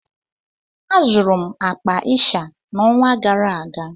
Azụrụ m akpa ịsha n'ọnwa gara aga